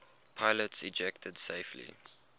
pilots ejected safely